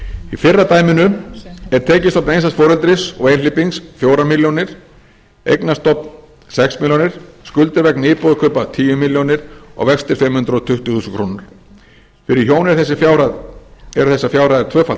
í fyrra dæminu er tekjustofn einstæðs foreldris og einhleypings fjórar milljónir eignastofn sex milljónir skuldir vegna íbúðarkaupa tíu milljónir og vextir fimm hundruð tuttugu þúsund krónur fyrir hjón eru þessar fjárhæðir tvöfalt